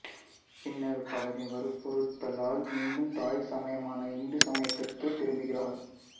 பின்னர் பலரின் வற்புறுத்தலால் மீண்டும் தாய் சமயமான இந்து சமயத்திற்கே திரும்பகிறார்